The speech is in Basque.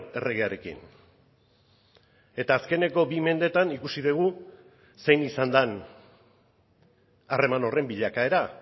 erregearekin eta azkeneko bi mendeetan ikusi dugu zein izan den harreman horren bilakaera